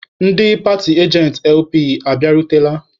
Ndị paatị ajentị LP abịarutela?